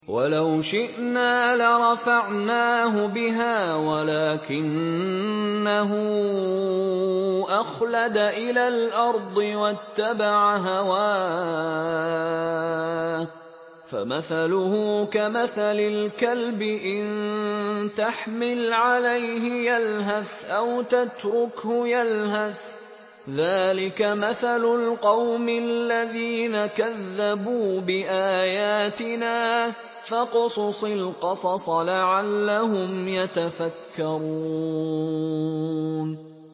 وَلَوْ شِئْنَا لَرَفَعْنَاهُ بِهَا وَلَٰكِنَّهُ أَخْلَدَ إِلَى الْأَرْضِ وَاتَّبَعَ هَوَاهُ ۚ فَمَثَلُهُ كَمَثَلِ الْكَلْبِ إِن تَحْمِلْ عَلَيْهِ يَلْهَثْ أَوْ تَتْرُكْهُ يَلْهَث ۚ ذَّٰلِكَ مَثَلُ الْقَوْمِ الَّذِينَ كَذَّبُوا بِآيَاتِنَا ۚ فَاقْصُصِ الْقَصَصَ لَعَلَّهُمْ يَتَفَكَّرُونَ